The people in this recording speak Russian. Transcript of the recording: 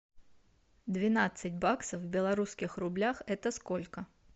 двенадцать баксов в белорусских рублях это сколько